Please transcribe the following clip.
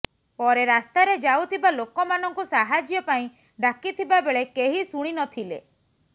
ପରେ ରାସ୍ତାରେ ଯାଉଥିବା ଲୋକମାନଙ୍କୁ ସାହାଯ୍ୟ ପାଇଁ ଡ଼ାକିଥିବା ବେଳେ କେହି ଶୁଣି ନଥିଲେ